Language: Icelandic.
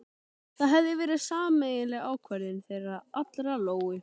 Það hafði verið sameiginleg ákvörðun þeirra allra- Lóu